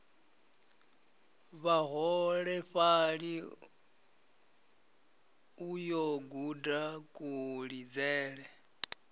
vhaholefhali u yo guda kulidzele